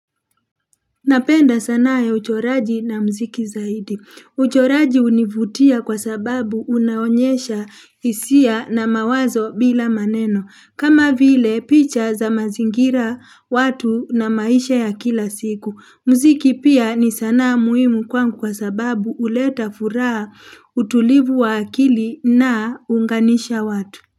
Napenda sanaa ya uchoraji na muziki zaidi. Uchoraji hunivutia kwa sababu unaonyesha hisia na mawazo bila maneno. Kama vile picha za mazingira watu na maisha ya kila siku. Muziki pia ni sanaa muhimu kwangu kwa sababu huleta furaha utulivu wa akili na huunganisha watu.